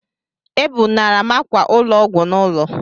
Ebunara m ákwà ụlọ ọgwụ n'ụlọ